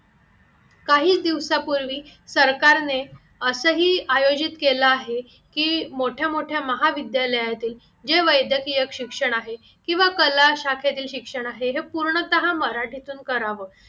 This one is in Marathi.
काही दिवसापूर्वी सरकारने असेही आयोजित केला आहे की मोठ्या मोठ्या महाविद्यालयातील जे वैद्यकीय शिक्षण आहे किंवा कला शाखेतील शिक्षण आहे हे पूर्णतः मराठीतून करावं